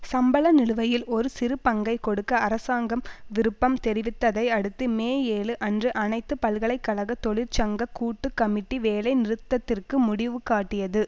சம்பள நிலுவையில் ஒரு சிறு பங்கை கொடுக்க அரசாங்கம் விருப்பம் தெரிவித்ததை அடுத்து மே ஏழு அன்று அனைத்து பல்கலைகழக தொழிற்சங்க கூட்டு கமிட்டி வேலை நிறுத்தத்திற்கு முடிவுகாட்டியது